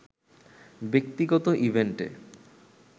ব্যক্তিগত ইভেন্টে